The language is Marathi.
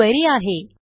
ही क्वेरी आहे